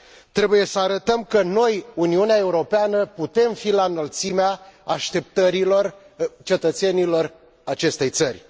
Trebuie să arătăm că noi, Uniunea Europeană, putem fi la înălțimea așteptărilor cetățenilor acestei țări.